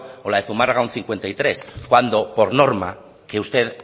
o la de zumárraga un cincuenta y tres cuando por norma que usted